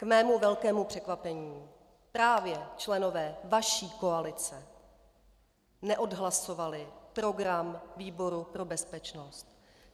K mému velkému překvapení právě členové vaší koalice neodhlasovali program výboru pro bezpečnost.